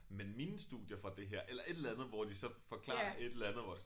Men mine studier fra det her eller et eller andet hvor de så forklarer et eller andet hvor jeg så